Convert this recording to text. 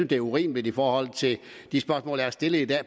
det er urimeligt i forhold til de spørgsmål der er stillet i dag